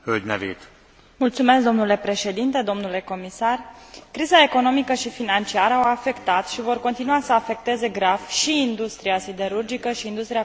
Domnule Președinte, domnule comisar, criza economică și financiară au afectat și vor continua să afecteze grav și industria siderurgică și industria constructoare de nave.